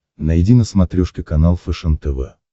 найди на смотрешке канал фэшен тв